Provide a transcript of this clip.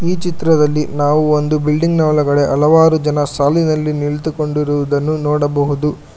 ಈ ಚಿತ್ರದಲ್ಲಿ ನಾವು ಒಂದು ಬಿಲ್ಡಿಂಗ್ ನ ಒಳಗಡೆ ಹಲವಾರು ಜನ ಸಾಲಿನಲ್ಲಿ ನಿಂತುಕೊಂಡಿರುವುದನ್ನು ನೋಡಬಹುದು.